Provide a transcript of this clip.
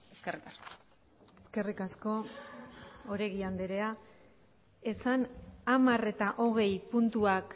eskerrik asko eskerrik asko oregi andrea esan hamar eta hogei puntuak